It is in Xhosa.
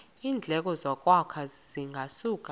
iindleko zokwakha zingasuka